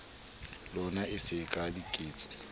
lona e se ka diketso